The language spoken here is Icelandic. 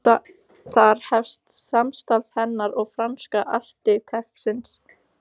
Þar hefst samstarf hennar og franska arkitektsins